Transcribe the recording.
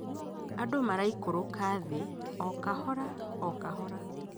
Andũ maraikũrũka thĩ okahora okahora